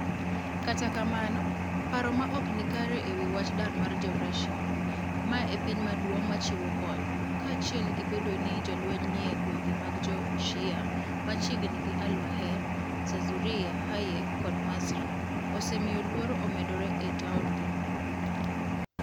Kata kamano, paro ma ok ni kare e wi wach dar mar Jo - Russia, ma e piny maduong ' machiwo kony, kaachiel gi bedo ni jolweny ni e gwenge mag Jo - Shia machiegni gi Al - Waer (Zarzuriya, Hayek, kod Mazraa) osemiyo luoro omedore e taondno.